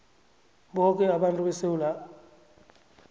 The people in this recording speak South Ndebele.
boke abantu besewula